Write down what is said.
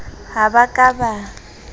ha ba ka ba a